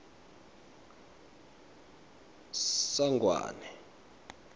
sangwane